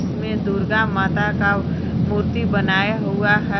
इसमें दुर्गा माता का मूर्ति बनाया हुआ है।